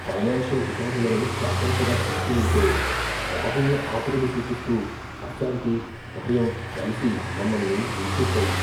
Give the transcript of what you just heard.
Financial రికార్డులను జాగ్రత్తగా చూస్తూ ఉంటే, రాబోయే ఆపదను సూచిస్తూ అశాంతి, భయం కలిసి మమ్మల్ని ముంచెత్తాయి.